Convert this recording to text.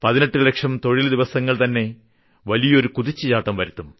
18 ലക്ഷം തൊഴിൽ ദിവസങ്ങൾ തന്നെ വലിയ കുതിച്ചുചാട്ടം വരുത്തും